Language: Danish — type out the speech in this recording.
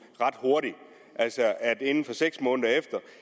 ret hurtigt altså at inden for seks måneder